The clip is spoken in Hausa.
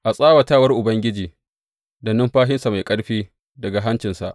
A tsawatawar Ubangiji, da numfashinsa mai ƙarfi daga hancinsa.